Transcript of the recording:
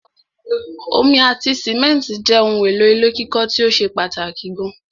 Omi ati simẹ́ntì jẹ́ ohun èlò ilé kíkọ́ tíó ṣe pàtàkì gan